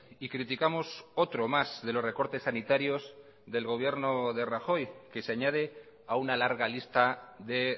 y criticamos otro más de los recortes sanitarios del gobierno de rajoy que se añade a una larga lista de